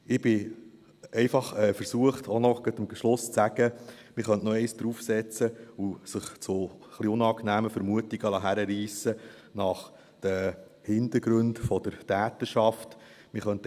Ich bin einfach versucht, am Schluss auch noch zu sagen, man könnte noch einen draufsetzen und sich zu etwas unangenehmen Vermutungen nach den Hintergründen der Täterschaft hinreissen lassen.